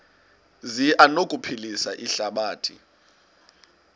zi anokuphilisa ihlabathi